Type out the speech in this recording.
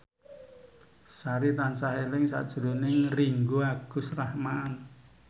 Sari tansah eling sakjroning Ringgo Agus Rahman